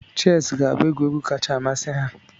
Chess ga-abụ egwuregwu kacha amasị ha.